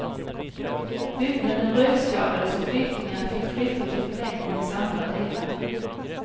Byggnaden rökskadades och flyktingarna fick flytta till förläggningens andra delar.